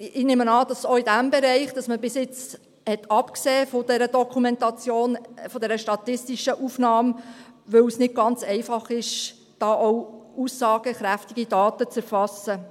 Ich nehme an, dass man auch in diesem Bereich bisher von einer Dokumentation, von dieser statistischen Aufnahme absah, weil es nicht ganz einfach ist, da aussagekräftige Daten zu erfassen.